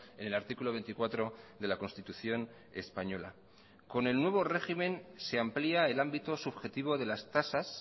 en el artículo veinticuatro de la constitución española con el nuevo régimen se amplía el ámbito subjetivo de las tasas